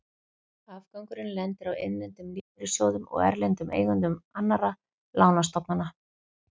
Afgangurinn lendir á innlendum lífeyrissjóðum og erlendum eigendum annarra lánastofnana.